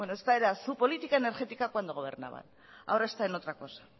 bueno esta era su política energética cuando gobernaba ahora está en otra cosa